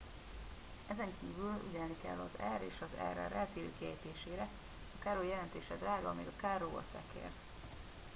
ezenkívül ügyelni kell az r és az rr eltérő kiejtésére a caro jelentése drága míg a carro a szekér